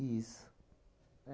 Isso.